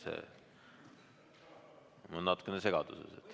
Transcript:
Ma olen natukene segaduses.